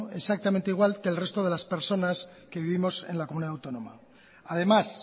exactamente igual que el resto de las personas que vivimos en la comunidad autónoma además